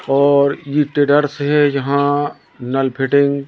और ये ट्रेडर्स है यहां नल फिटिंग --